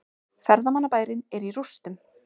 Ferðamannabærinn er í rústum